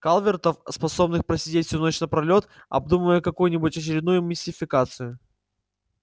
калвертов способных просидеть всю ночь напролёт обдумывая какую-нибудь очередную мистификацию